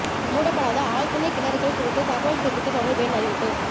மூடப்படாத ஆழ்துளை கிணறுகள் குறித்து தகவல் தெரிவிக்க தொடா்பு எண் அறிவிப்பு